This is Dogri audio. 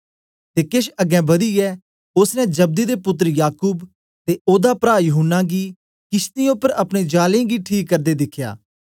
ते केछ अगें बदियै ओसने जब्दी दे पुत्तर याकूब ते ओदा प्रा यूहन्ना गी किशतीयें उपर अपने जालें गी ठीक करदे दिखया